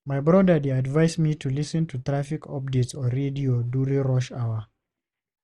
My brother dey advise me to lis ten to traffic updates on radio during rush hour.